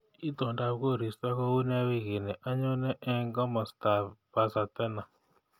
Itondap koristo kounee wiikini anyone eng komostab basatena